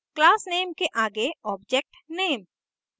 classname के आगे objectname